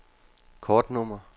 kortnummer